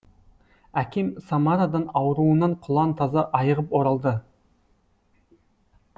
әкем самарадан ауруынан құлан таза айығып оралды